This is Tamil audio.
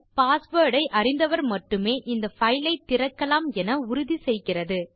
பாஸ்வேர்ட் ஐ அறிந்தவர் மட்டுமே இந்த பைல் ஐ திறக்கலாம் என உறுதி செய்கிறது